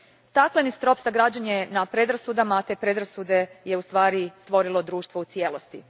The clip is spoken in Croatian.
Stakleni strop sagrađen je na predrasudama, te predrasude je ustvari stvorilo društvo u cijelosti.